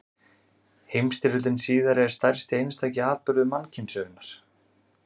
Heimsstyrjöldin síðari er stærsti einstaki atburður mannkynssögunnar.